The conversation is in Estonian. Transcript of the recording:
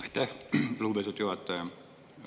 Aitäh, lugupeetud juhataja!